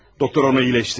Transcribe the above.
Doktor onu iyiləşdirər.